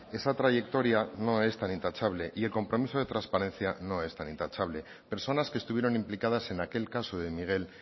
esa trayectoria no es tan intachable y el compromiso de transparencia no es tan intachable personas que estuvieron implicadas en aquel caso de miguel